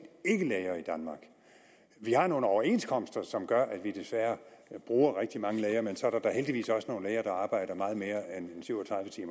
vi har nogle overenskomster som gør at vi desværre bruger rigtig mange læger men så er der da heldigvis også nogle læger der arbejder meget mere end syv